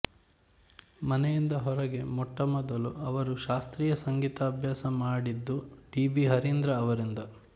ಮನೆಯಿಂದ ಹೊರಗೆ ಮೊಟ್ಟ ಮೊದಲು ಅವರು ಶಾಸ್ತ್ರೀಯ ಸಂಗೀತಾಭ್ಯಾಸ ಮಾಡಿದ್ದು ಡಿ ಬಿ ಹರೀಂದ್ರ ಅವರಿಂದ